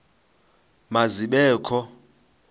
ma zibe kho